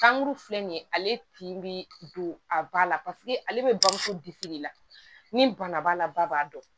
Kankuru filɛ nin ye ale tin bɛ don a ba la paseke ale bɛ bamuso bisimila ni bana b'a la ba b'a dɔn